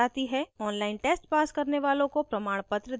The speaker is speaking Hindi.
online test देने वालों को प्रमाणपत्र देते हैं